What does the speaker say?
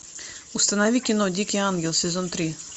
установи кино дикий ангел сезон три